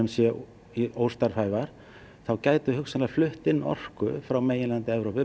séu óstarfhæfar þá gætum við hugsanlega flutt inn orku frá meginlandi Evrópu